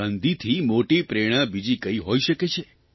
ગાંધીથી મોટી પ્રેરણા બીજી કઇ હોઇ શકે છે